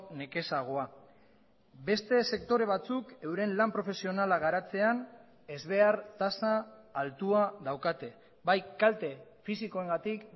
nekezagoa beste sektore batzuk euren lan profesionala garatzean ezbehar tasa altua daukate bai kalte fisikoengatik